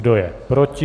Kdo je proti?